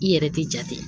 I yɛrɛ tɛ jate